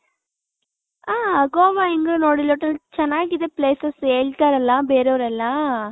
ಹ ಗೋವ ಹೆಂಗು ನೋಡಿಲ್ಲ ಒಟ್ನಲ್ಲಿ ಚೆನ್ನಾಗಿದೆ places ಹೇಳ್ತಾರ ಅಲ್ಲ ಬೇರೆಅವರ್ ಎಲ್ಲಾ .